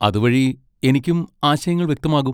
അതുവഴി എനിക്കും ആശയങ്ങൾ വ്യക്തമാകും.